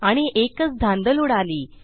आणि एकच धांदल उडाली